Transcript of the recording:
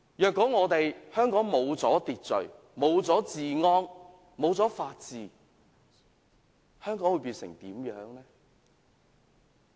如果香港失去秩序，失去治安，失去法治，會變成怎樣？